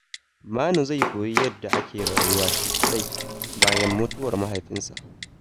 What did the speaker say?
Manu zai koyi yadda ake rayuwa shi kaɗai bayan mutuwar mahaifansa.